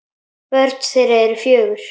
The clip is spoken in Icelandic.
Börn þeirra eru fjögur.